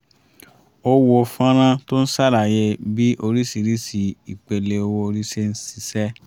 a wo fọ́nrán tó ń ṣàlàyé bí oríṣiríṣi ìpele owó orí ṣé ń ṣiṣẹ́